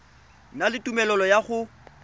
na le tumelelo ya go